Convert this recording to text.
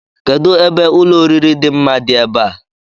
Kedụ ebe ụlọoriri dị mma dị ebe a?